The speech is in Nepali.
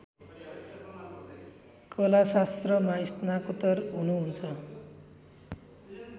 कलाशास्त्रमा स्नातकोत्तर हुनुहुन्छ